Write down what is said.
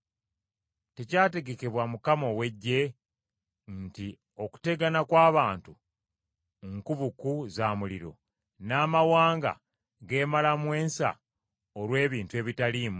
Tekyategekebwa Mukama ow’Eggye nti okutegana kw’abantu nku buku za muliro, n’amawanga geemalamu ensa olw’ebintu ebitaliimu?